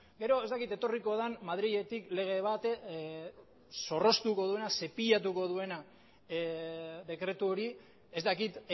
gero ez dakit etorriko den madriletik lege bat zorroztuko duena zepilatuko duena dekretu hori ez dakit